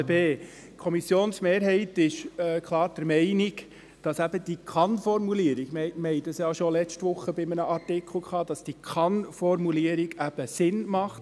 Die Kommissionsmehrheit ist klar der Meinung, dass die Kann-Formulierung – wir hatten dies bereits letzte Woche bei einem Artikel – Sinn macht.